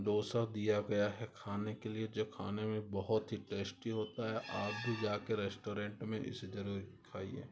डोसा दिया गया है खाने के लिए जो खाने में बहुत ही टेस्टी होता है आप भी जा के रेस्टोरेंट में इसी तरह खाइए ।